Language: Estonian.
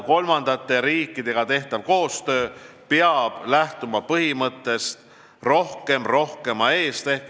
Kolmandate riikidega tehtav koostöö peab lähtuma põhimõttest: rohkem rohkema eest.